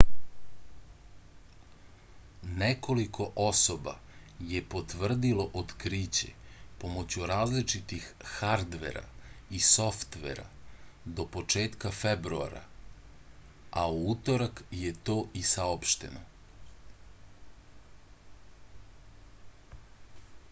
nekoliko osoba je potvrdilo otkriće pomoću različitih hardvera i softvera do početka februara a u utorak je to i saopšteno